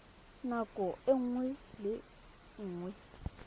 ka nako nngwe le nngwe